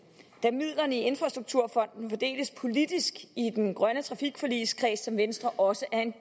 da midlerne i infrastrukturfonden fordeles politisk i den grønne trafikforligskreds som venstre også er en